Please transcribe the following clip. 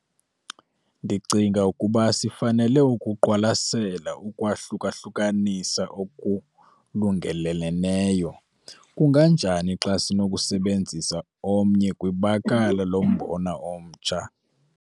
Ndicinga ukuba sifanele ukuqwalasela ukwahluka-hlukanisa okulungeleleneyo. Kunganjani xa sinokusebenzisa omnye kwibakala lombona omtsha.